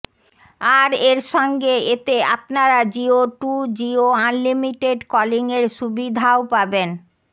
আর এর সঙ্গে এতে আপনারা জিও টু জিও আনলিমিটেড কলিংয়ের সুবিধাও পাবেন